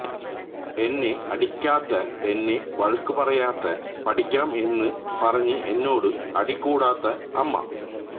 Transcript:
എന്നെ അടിക്കാത്ത എന്നെ വഴക്കുപറയാത്ത പഠിക്കണം എന്ന് പറഞ്ഞ് എന്നോട് അടികൂടാത്ത അമ്മ